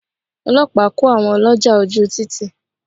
Ọlọ́pàá kó àwọn ọlọ́jà ojú u títì.